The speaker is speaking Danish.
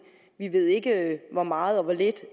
vi ved ikke hvor meget og hvor lidt